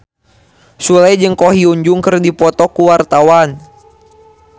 Sule jeung Ko Hyun Jung keur dipoto ku wartawan